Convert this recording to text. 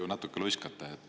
Te natuke luiskate.